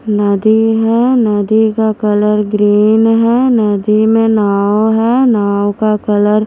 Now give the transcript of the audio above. नदी है नदी का कलर ग्रीन है नदी में नाव है नाव का कलर --